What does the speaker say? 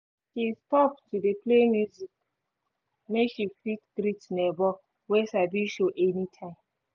she stop to dey play music make she fit greet neighbor wey sabi show any time